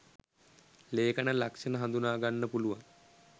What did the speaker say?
ලේඛන ලක්ෂණ හඳුනා ගන්න පුළුවන්.